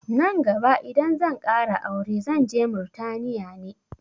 Nan gaba idan zan ƙara aure zanje Murtaniya ne